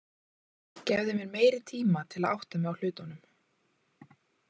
Gefðu mér meiri tíma til að átta mig á hlutunum.